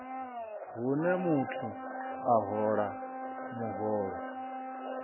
hune muthu a hola muholo